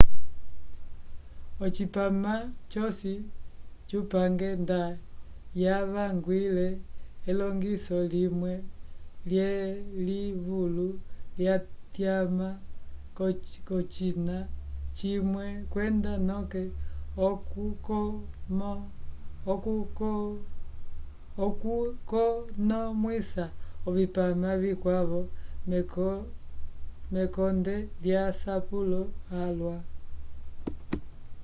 ocipama cosi cupange nda yavangwile elongiso limwe lyelivulu lyatyama k'ocina cimwe kwenda noke okukonomwisa ovipama vikwavo mekonde lyasapulo alwa